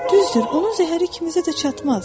Düzdür, onun zəhəri kimisə də çatmaz.